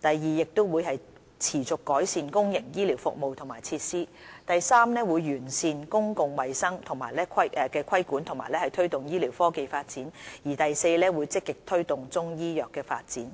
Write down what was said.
第二，持續改善公營醫療服務和設施；第三，完善公共衞生規管和推動醫療科技發展；及第四，積極推動中醫藥的發展。